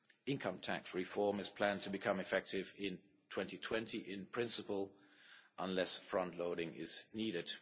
Income tax reform is planned to become effective in 2020 in principle, unless front loading is needed.